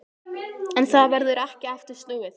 En það verður ekki aftur snúið.